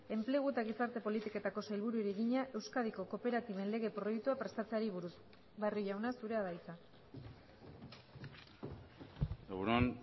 enplegu eta gizarte politiketako sailburuari egina euskadiko kooperatiben lege proiektua prestatzeari buruz barrio jauna zurea da hitza egun on